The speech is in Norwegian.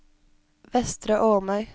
Vestre Åmøy